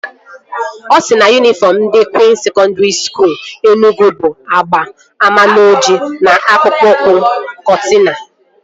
Ọ sịrị na yunifọm ndị Kwịns Sekọndri Skuul Enugwu bụ agba amaloji na akpụkpọ ụkwụ kọtina